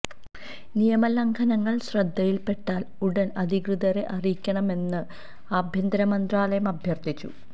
നിയമ ലംഘനങ്ങൾ ശ്രദ്ധയിൽ പെട്ടാൽ ഉടൻ അധികൃതരെ അറിയിക്കണമെന്ന് ആഭ്യന്തര മന്ത്രാലയം അഭ്യർഥിച്ചു